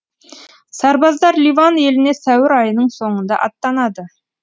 сарбаздар ливан еліне сәуір айының соңында аттанады